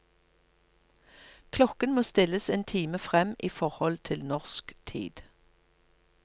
Klokken må stilles en time frem i forhold til norsk tid.